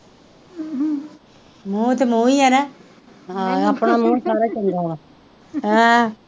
ਮੂੰਹ ਤਾਂ ਮੂੰਹ ਹੀ ਨਾ, ਹਾਂ ਆਪਣਾ ਮੂੰਹ ਸਾਰਾ ਚੰਗਾ ਵਾ ਹਾਂ